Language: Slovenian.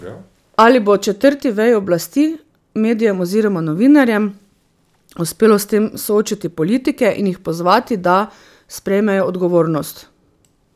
Ali bo četrti veji oblasti, medijem oziroma novinarjem, uspelo s tem soočiti politike in jih pozvati, da sprejmejo odgovornost?